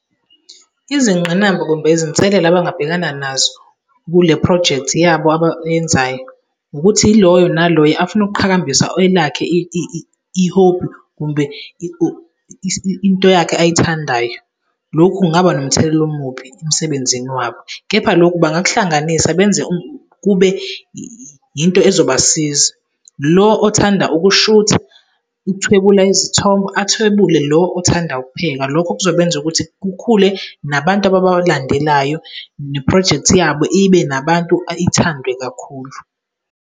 Izingqinamba kumbe izinselele abangabhekana nazo kule projekthi yabo abayenzayo ukuthi yiloyo naloyo afune ukuqhakambisa elakhe i-hobby kumbe into yakhe ayithandayo. Lokhu kungaba nomthelela omubi emsebenzini wabo kepha lokhu bangakuhlanganisa benze kube into ezobasiza. Lo othanda ukushutha, ukuthwebula izithombe, athwebule lo othanda ukupheka. Lokho kuzobenza ukuthi kukhule nabantu abawalandelayo neprojekthi yabo ibe nabantu , ithandwe kakhulu.